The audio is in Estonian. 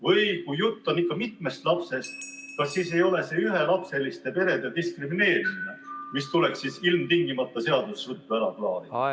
Või kui jutt on ikka mitmest lapsest, kas siis ei ole see ühelapseliste perede diskrimineerimine, mis tuleks ilmtingimata seaduses ruttu ära klaarida?